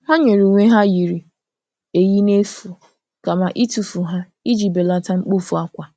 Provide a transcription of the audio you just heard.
Ha nyere uwe ha yiri eyi n'efu kama itufu ha iji belata mkpofu akwa.